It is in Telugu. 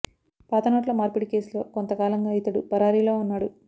పాత నోట్ల మార్పిడి కేసులో కొంత కాలంగా ఇతడు పరారీలో ఉన్నాడు